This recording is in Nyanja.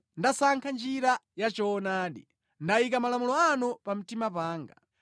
Ndasankha njira ya choonadi; ndayika malamulo anu pa mtima panga.